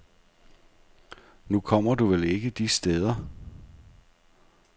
Nu kommer du vel ikke de steder.